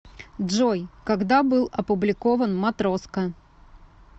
джой когда был опубликован матроска